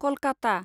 Kolkata